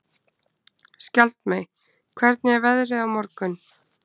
Skjaldmey, hvernig er veðrið á morgun?